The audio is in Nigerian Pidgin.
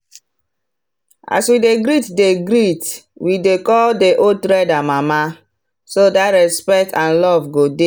as we dey greet dey greet we dey call the old trader “mama” so that respect and love go dey.